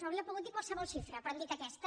hauria pogut dir qualsevol xifra però han dit aquesta